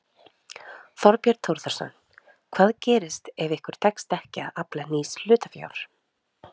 Þorbjörn Þórðarson: Hvað gerist ef ykkur tekst ekki að afla nýs hlutafjár?